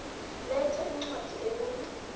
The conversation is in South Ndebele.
letha incwadi ebuya